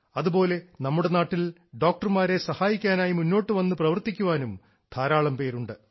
അതുപോലെ നമ്മുടെ നാട്ടിൽ ഡോക്ടർമാരെ സഹായിക്കാനായി മുന്നോട്ടു വന്ന് പ്രവർത്തിക്കുവാനും ധാരാളം പേരുണ്ട്